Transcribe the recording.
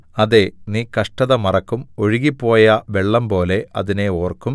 അതെ നീ കഷ്ടത മറക്കും ഒഴുകിപ്പോയ വെള്ളംപോലെ അതിനെ ഓർക്കും